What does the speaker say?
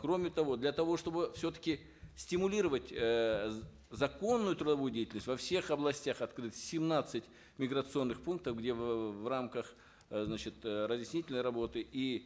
кроме того для того чтобы все таки стимулировать э законную трудовую деятельность во всех областях открыты семнадцать миграционных пунктов где в э рамках э значит э разъяснительной работы и